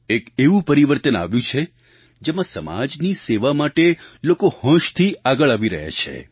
એક એવું પરિવર્તન આવ્યું છે જેમાં સમાજની સેવા માટે લોકો હોંશથી આગળ આવી રહ્યા છે